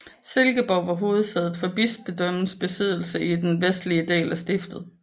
Silkeborg var hovedsædet for bispedømmets besiddelser i den vestlige del af stiftet